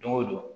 Don o don